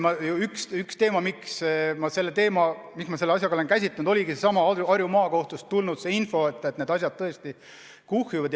Ma juba ütlesin, et üks teema, mida ma sellega seoses olen käsitlenud, oligi seesama Harju Maakohtust tulnud info, et need asjad tõesti kuhjuvad.